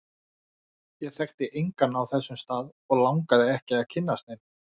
Ég þekkti engan á þessum stað, og langaði ekki að kynnast neinum.